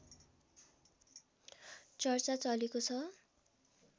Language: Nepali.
चर्चा चलेको छ